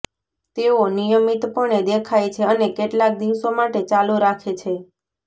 તેઓ નિયમિતપણે દેખાય છે અને કેટલાક દિવસો માટે ચાલુ રાખે છે